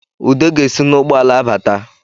Ude ga-esi n’ụgbọala abata